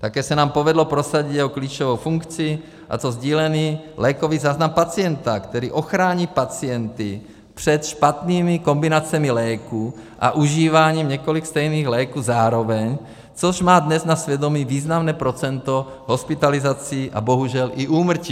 Také se nám povedlo prosadit jeho klíčovou funkci, a to sdílený lékový záznam pacienta, který ochrání pacienty před špatnými kombinacemi léků a užíváním několika stejných léků zároveň, což má dnes na svědomí významné procento hospitalizací a bohužel i úmrtí.